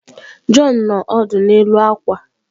John nọ ọdụ n'elu akwa.